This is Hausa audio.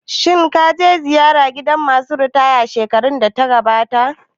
Shin ka kai ziyara gidan ma su ritaya shekarar da ta gabata?